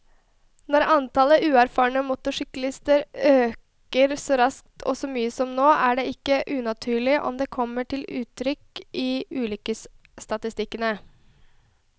Når antallet uerfarne motorsyklister øker så raskt og så mye som nå, er det ikke unaturlig om det kommer til uttrykk i ulykkesstatistikkene.